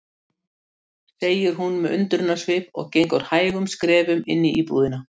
segir hún með undrunarsvip og gengur hægum skrefum inn í íbúðina.